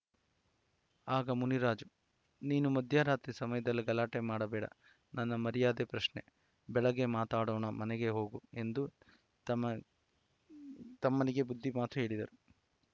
ಆಗ ಮುನಿರಾಜು ನೀನು ಮಧ್ಯರಾತ್ರಿ ಸಮಯದಲ್ಲಿ ಗಲಾಟೆ ಮಾಡಬೇಡ ನನ್ನ ಮರ್ಯಾದೆ ಪ್ರಶ್ನೆ ಬೆಳಗ್ಗೆ ಮಾತನಾಡೋಣ ಮನೆಗೆ ಹೋಗು ಎಂದು ತಮ್ಮ ತಮ್ಮನಿಗೆ ಬುದ್ಧಿ ಮಾತು ಹೇಳಿದ್ದರು